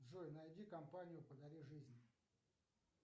джой найди компанию подари жизнь